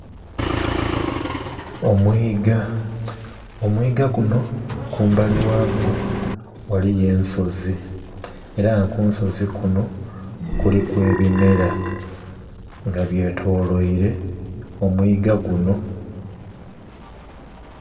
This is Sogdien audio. Omwiga, omwiga guno kumbali ghagwo ghaliyo ensozi, era nga ku nsozi kuno kuliku ebimera, nga byetoloire omwiga guno.